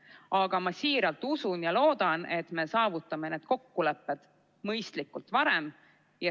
Aga ma siiralt usun ja loodan, et me saavutame need kokkulepped mõistlikult ja varem.